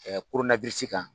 korona kan.